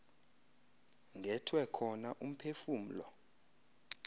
ngethwe khona umphefumlo